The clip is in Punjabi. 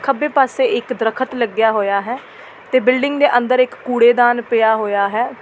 ਖੱਬੇ ਪਾਸੇ ਇੱਕ ਦਰਖਤ ਲੱਗਿਆ ਹੋਇਆ ਹੈ ਤੇ ਬਿਲਡਿੰਗ ਦੇ ਅੰਦਰ ਇੱਕ ਕੁੜੇਦਾਨ ਪਿਆ ਹੋਇਆ ਹੈ।